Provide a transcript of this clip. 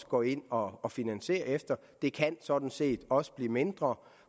går ind og og finansierer efter det kan sådan set også blive mindre